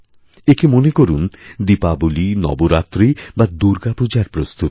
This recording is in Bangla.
একে মনে করুন দীপাবলী নবরাত্রি বা দুর্গাপূজার প্রস্তুতি